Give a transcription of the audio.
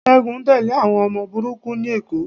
Ṣẹ́gun ń tẹ́lẹ̀ àwọn ọmọ burúkú ní Èkó